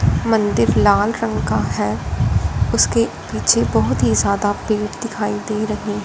मंदिर लाल रंग का है उसके पीछे बहोत ही ज्यादा पेड़ दिखाई दे रहे--